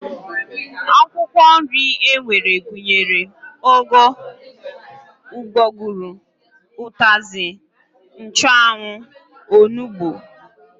Akwụkwọ nri e nwere gụnyere ụgụ, ụgbọgụrụ, ụtazị, nchụanwụ, onugbu